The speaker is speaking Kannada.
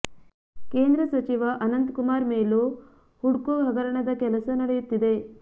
ಕೇಂದ್ರ ಸಚಿವ ಅನಂತ್ ಕುಮಾರ್ ಮೇಲೂ ಹುಡ್ಕೋ ಹಗರಣದ ಕೇಸ್ ನಡೆಯುತ್ತಿದೆ